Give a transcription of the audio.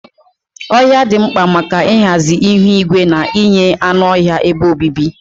Ohia dị mkpa maka ịhazi ihu igwe na inye anụ ọhịa ebe obibi.